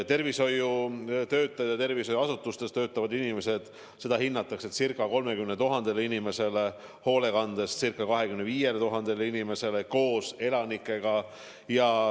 Tervishoiutöötajaid ja muid tervishoiuasutustes töötavaid inimesi on ca 30 000, hoolekandeasutustes on koos elanikega ca 25 000 inimest.